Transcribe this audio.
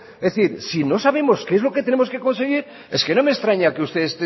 es decir si no sabemos qué es lo que tenemos que conseguir es que no me extraña que usted